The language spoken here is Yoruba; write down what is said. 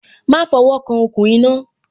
Má fo wo kan okùn iná